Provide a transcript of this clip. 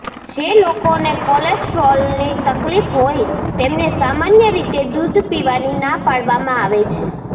જે લોકોને કોલેસ્ટ્રોલની તકલીફ હોય તેમને સામાન્ય રીતે દૂધ પીવાની ના પાડવામાં આવે છે